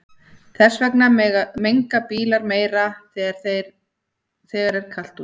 Þess vegna menga bílar meira þegar er kalt úti.